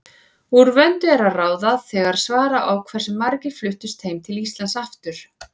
Úr vöndu er að ráða þegar svara á hversu margir fluttust heim til Íslands aftur.